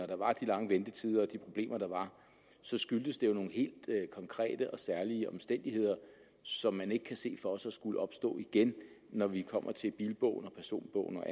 der var de lange ventetider og de problemer der var så skyldtes det jo nogle helt konkrete og særlige omstændigheder som man ikke kan se for sig skulle opstå igen når vi kommer til bilbogen og personbogen og